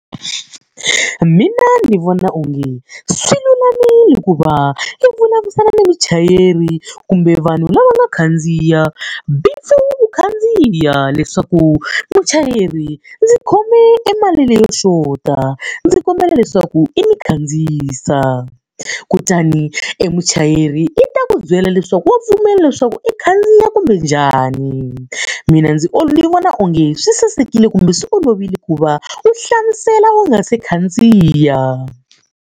Mina ndzi vona onge swi lulamile ku va i vulavurisana na muchayeri kumbe vanhu lava nga khandziya u khandziya. Leswaku muchayeri ndzi khome emali leyo xota, ndzi kombela leswaku i ni khandziyisa. Kutani emuchayeri i ta ku byela leswaku wa pfumela leswaku i khandziya kumbe njhani. Mina ndzi ni vona onge swi sasekile kumbe swi olovile ku va u hlamusela u nga se khandziya.